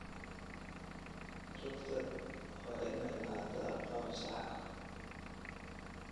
Rugta waa inay lahaataa qalab sax ah.